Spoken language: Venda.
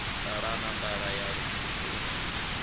ṱalana nḓala ya lufuno i